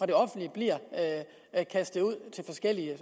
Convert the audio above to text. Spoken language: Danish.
det offentlige bliver kastet ud til forskellige